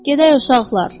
Gedək, uşaqlar!